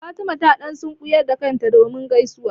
Fatima ta ɗan sunkuyar da kanta don gaisuwa.